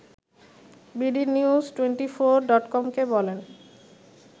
BD news twenty four ডটকমকে বলেন